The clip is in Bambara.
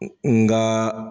Nkaaa.